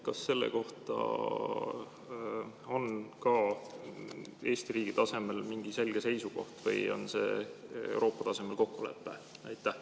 Kas selle kohta on ka Eesti riigi tasemel mingi selge seisukoht või on see Euroopa tasemel kokkulepe?